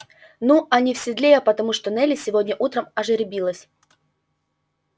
ну а не в седле я потому что нелли сегодня утром ожеребилась